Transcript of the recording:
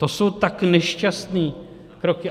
To jsou tak nešťastné kroky.